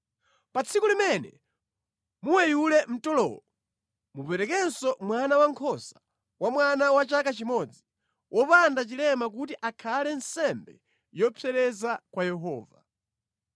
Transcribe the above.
Pa tsiku limene muweyula mtolowo, muperekenso mwana wankhosa wa mwamuna wa chaka chimodzi, wopanda chilema kuti akhale nsembe yopsereza ya kwa Yehova.